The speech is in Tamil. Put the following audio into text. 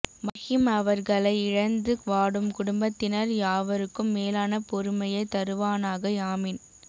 மர்ஹூம் அவர்களை இழந்து வாடும் குடும்பத்தினர் யாவருக்கும் மேலான பொறுமையை தருவானாக ஆமீன்